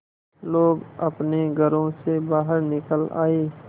लोग अपने घरों से बाहर निकल आए